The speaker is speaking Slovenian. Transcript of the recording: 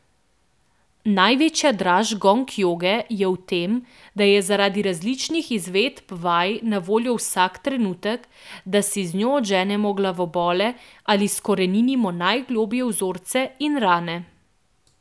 Največja draž gong joge je v tem, da je zaradi različnih izvedb vaj na voljo vsak trenutek, da si z njo odženemo glavobol ali izkoreninimo najgloblje vzorce in rane.